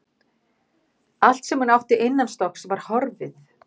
Allt sem hún átti innanstokks var horfið.